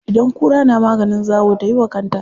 Idan kura na maganin zawo tayi wa kanta.